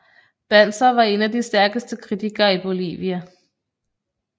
Banzer var en af de stærkeste kritikere i Bolivia